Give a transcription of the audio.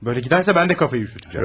Böyle giderse ben de kafayı üşüteceğim.